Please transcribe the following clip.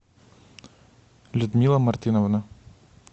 людмила мартыновна